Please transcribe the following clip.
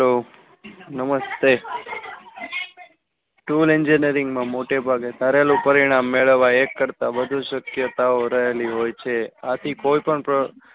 નમસ્તે tool engineering મા મોટેભાગે ધારેલું પરિણામ મેળવવા એક કરતા વધુ શક્યતાઓ રહેલી હોય છે. આથી કોઈ પણ પ્ર.